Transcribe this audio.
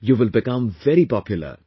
you will become very popular